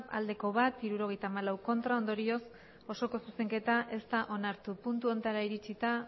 bat bai hirurogeita hamalau ez ondorioz osoko zuzenketa ez da onartu puntu hontara iritsita